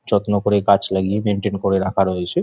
যত্ন করা গাছ লাগিয়ে মেইনটেইন করা রয়েছে ।